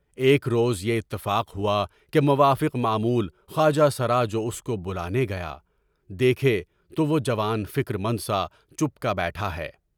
ایک روز یہ اتفاق ہوا کہ موافق معمول خواجہ سارا جو اسکو بلانے گیا، دیکھے تو وہ جوان فکر مند سا چُپکے بیٹھا ہے۔